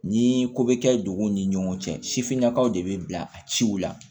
Ni ko bɛ kɛ duguw ni ɲɔgɔn cɛ sifinnakaw de bɛ bila a ciw la